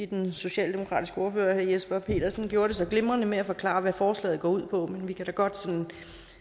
den socialdemokratiske ordfører herre jesper petersen gjorde det så glimrende med at forklare hvad forslaget går ud på men vi kan da godt sådan